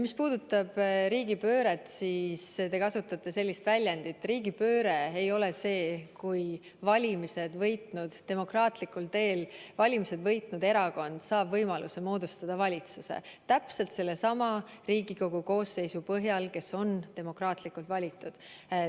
Mis puudutab riigipööret – te kasutasite sellist väljendit –, siis riigipööre ei ole see, kui demokraatlikul teel valimised võitnud erakond saab võimaluse moodustada valitsus täpselt sellesama Riigikogu koosseisu põhjal, kes on demokraatlikult valitud.